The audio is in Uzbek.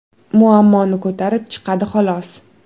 Muammoni ko‘tarib chiqadi, xolos.